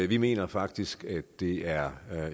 vi mener faktisk at det er